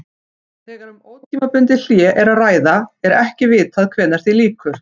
Þegar um ótímabundið hlé er að ræða er ekki vitað hvenær því lýkur.